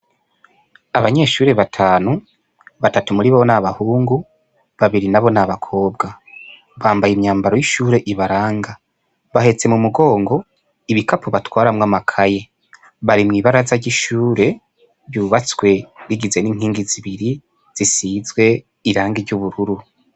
Abanyeshure batanu batatu muribo n' abahungu babiri nabo n' abakobwa bambaye imyambaro y' ishure ibaranga bahetse mu mugongo ibikapo batwaramwo amakaye bari mwi baraza ry' ishure ryubatswe rigizwe n' inkingi zibiri zisizwe irangi ry' ubururu.